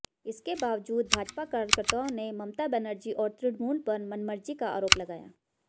इसके बावजूद भाजपा कार्यकर्ताओं ने ममता बनर्जी और तृणमूल पर मनमर्जी का आरोप लगाया